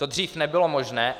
To dříve nebylo možné.